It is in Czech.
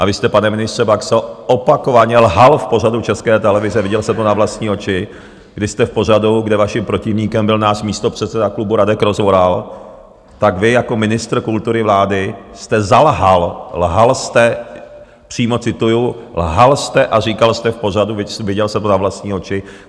A vy jste, pane ministře Baxo, opakovaně lhal v pořadu České televize, viděl jsem to na vlastní oči, kdy jste v pořadu, kde vaším protivníkem byl náš místopředseda klubu Radek Rozvoral, tak vy jako ministr kultury vlády jste zalhal, lhal jste, přímo cituju, lhal jste a říkal jste v pořadu, viděl jsem to na vlastní oči.